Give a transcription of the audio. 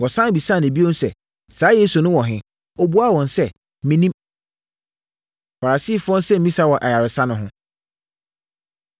Wɔsane bisaa no bio sɛ, “Saa Yesu no wɔ he?” Ɔbuaa wɔn sɛ, “Mennim.” Farisifoɔ Nsɛmmisa Wɔ Ayaresa No Ho